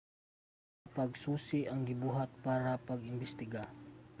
usa ka pagsusi ang gibuhat para sa pag-imbestiga